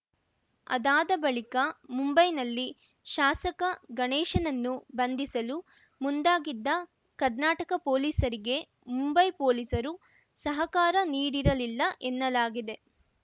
ಅದಾದ ಬಳಿಕ ಮುಂಬೈನಲ್ಲಿ ಶಾಸಕ ಗಣೇಶನನ್ನು ಬಂಧಿಸಲು ಮುಂದಾಗಿದ್ದ ಕರ್ನಾಟಕ ಪೊಲೀಸರಿಗೆ ಮುಂಬೈ ಪೊಲೀಸರು ಸಹಕಾರ ನೀಡಿರಲಿಲ್ಲ ಎನ್ನಲಾಗಿದೆ